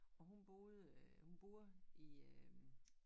Og hun boede hun boede i øh